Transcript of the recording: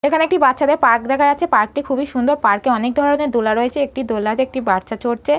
এখানে একটি বাচ্চাদের পার্ক দেখা যাচ্ছে পার্ক -টি খুবই সুন্দর পার্ক -এ অনেক ধরনের দোলা রয়েছে একটি দোলনাতে একটি বাচ্চা চড়চে।